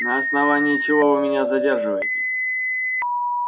на основании чего вы меня задерживаете